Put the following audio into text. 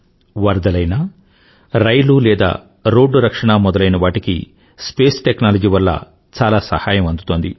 వరదలైనా రైలు లేదా రోడ్డు రక్షణ మొదలైనవాటికి స్పేస్ టెక్నాలజీ వల్ల చాలా సహాయం అందుతోంది